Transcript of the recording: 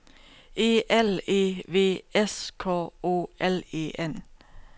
E L E V S K O L E N